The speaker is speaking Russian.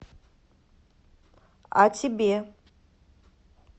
а тебе